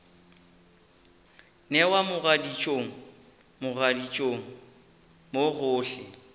newa mogaditšong mogaditšong mo gohle